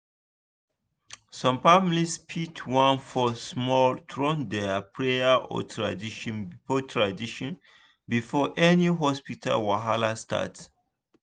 some families fit wan pause small to run their prayer or tradition before tradition before any hospital wahala start